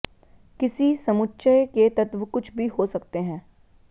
किसी समुच्चय के तत्त्व कुछ भी हो सकते हैं